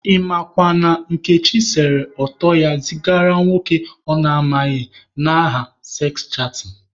Ị makwa na Nkechi sere ọtọ ya zigara nwoke ọ na amaghị n'aha seks chatịn.